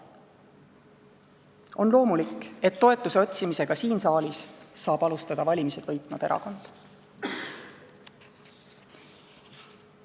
On loomulik, et toetuse otsimisega siin saalis saab alustada valimised võitnud erakond.